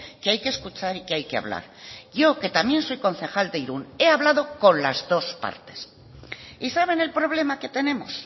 que hay que escuchar y que hay que hablar yo que también soy concejal de irún he hablado con las dos partes y saben el problema que tenemos